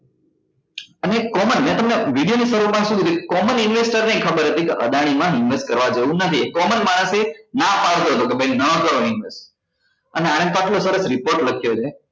અને common મેં તમને video ના શરુ માં શું કીધું કે common investor ને ય ખબર હતી કે અદાણી માં invest કરવા જેવું નહી common માણસ એ નાં પાડતો હતો કે ભાઈ નાં કરો invest અને આણે પાછો એક report લખ્યો મેં